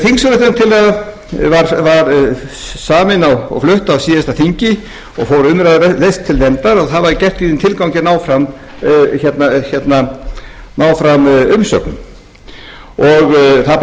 sviði því alþingi kýs nefndina þingsályktunartillaga var samin og flutt á síðasta þingi og fór umræðulaust til nefndar og það var gert í þeim tilgangi að ná fram umsögnum það bárust umsagnir